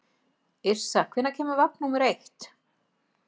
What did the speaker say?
Yrsa, hvenær kemur vagn númer eitt?